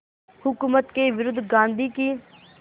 हुकूमत के विरुद्ध गांधी की